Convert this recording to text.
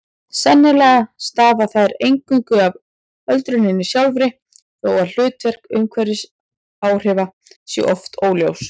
Sennilega stafa þær eingöngu af öldruninni sjálfri þó að hlutverk umhverfisáhrifa sé oft óljóst.